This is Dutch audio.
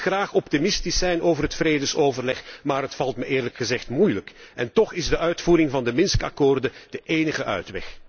Ik wil graag optimistisch zijn over het vredesoverleg, maar het valt mij eerlijk gezegd moeilijk. En toch is de uitvoering van de Minsk akkoorden de enige uitweg.